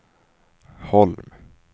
Holm